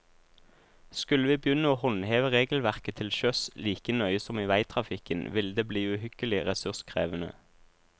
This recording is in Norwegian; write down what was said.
Skulle vi begynne å håndheve regelverket til sjøs like nøye som i veitrafikken, ville det bli uhyggelig ressurskrevende.